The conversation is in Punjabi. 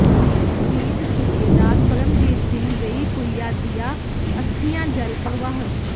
ਸ਼ਹੀਦ ਸੂਬੇਦਾਰ ਪਰਮਜੀਤ ਸਿੰਘ ਵੇਈਪੂਈਾ ਦੀਆ ਅਸਥੀਆਂ ਜਲ ਪ੍ਰਵਾਹ